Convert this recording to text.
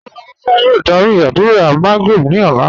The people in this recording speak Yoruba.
Rárá, Musa yòò dàrí àdúrà Magrib ni ọ̀lá